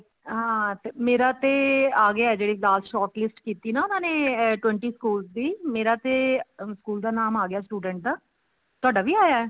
ਮੇਰਾ ਤੇ ਆਗਿਆ ਜਿਹੜੀ last short list ਕੀਤੀ ਨਾ ਉਹਨਾ ਨੇ twenty schools ਦੀ ਮੇਰਾ ਤੇ ਸਕੂਲ ਦਾ ਨਾਮ ਆ ਗਿਆ student ਦਾ ਤੁਹਾਡਾ ਵੀ ਆਇਆ